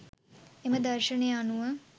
එම දර්ශනය අනුව